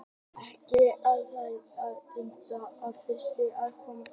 Ekki er hægt að útiloka að stökkbreyttir, svartir einstaklingar hafi komið fram.